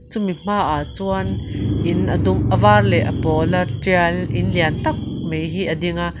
chumi hmaah chuan in a dum leh avar leh pawl a tial in lian tak mai hi a ding a.